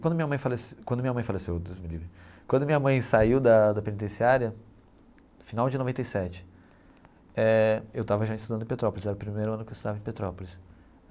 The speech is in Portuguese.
Quando minha mãe falece quando minha mãe faleceu Deus me livre, quando minha mãe saiu da da penitenciária, final de noventa e sete eh, eu estava já estudando em Petrópolis, era o primeiro ano que eu estudava em Petrópolis.